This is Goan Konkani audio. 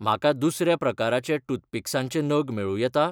म्हाका दुसऱ्या प्रकाराचे टूथपिक्सांचे नग मेळूं येता?